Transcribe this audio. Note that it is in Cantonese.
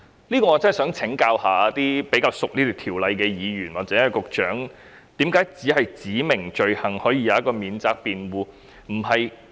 就此，我真的想請教比較熟悉這項條例的議員或局長，為何只有修正案訂明的罪行可有免責辯護？